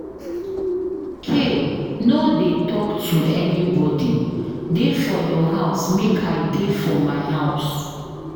K no dey talk to anybody. Dey for your house make I dey for my house.